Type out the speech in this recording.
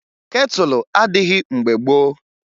ketụlụ adịghị mgbe gboo